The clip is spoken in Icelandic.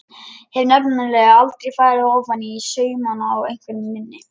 Hef nefnilega aldrei farið ofaní saumana á einveru minni.